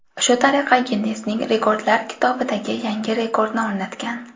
Shu tariqa Ginnesning rekordlar kitobidagi yangi rekordni o‘rnatgan.